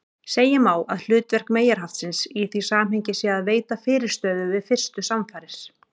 Segja má að hlutverk meyjarhaftsins í því samhengi sé að veita fyrirstöðu við fyrstu samfarir.